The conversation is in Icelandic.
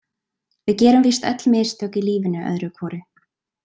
Við gerum víst öll mistök í lífinu öðru hvoru.